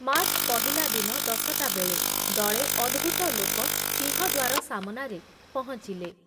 March ପହିଲା ଦିନ ଦଶଟାବେଳେ ଦଳେ ଅଦ୍ଭୁତ ଲୋକ ସିଂହଦ୍ଵାର ସାମନାରେ ପହଞ୍ଚିଲେ ।